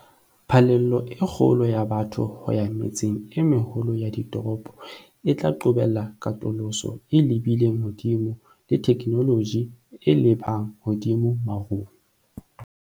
Phallelo e kgolo ya batho ho ya metseng e meholo ya ditoropo e tla qobella katoloso e lebileng hodimo le theknoloji e lebang hodimo marung.